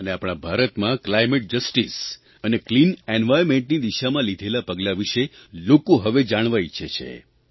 અને આપણા ભારતમાં આબોહવા ન્યાય અને સ્વચ્છ પર્યાવરણની દિશામાં લીધેલાં પગલાં વિષે લોકો હવે જાણવા ઇચ્છે છે